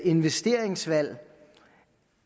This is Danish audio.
investeringsvalg